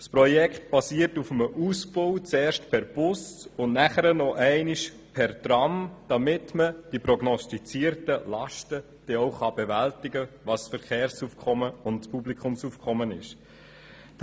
Das Projekt basiert auf einem Ausbau, zuerst per Bus und dann nochmals per Tram, damit man die prognostizierten Lasten, was das Verkehrs- und Publikumsaufkommen anbelangt, denn auch bewältigen kann.